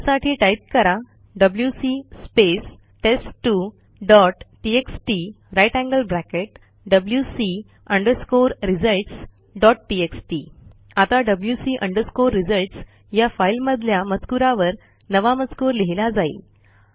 त्यासाठी टाईप करा WC space टेस्ट2 dot TXT grater than sign wc results dot TXT आता wc results या फाईलमधल्या मजकूरावर नवा मजकूर लिहिला जाईल